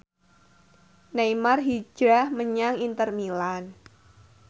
Neymar hijrah menyang Inter Milan